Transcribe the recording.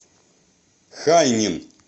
хайнин